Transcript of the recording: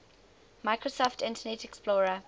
microsoft internet explorer